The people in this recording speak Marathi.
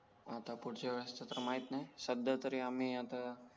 आता फूडच्या वेळेस तर माहित नाही सध्या तरी आम्ही आता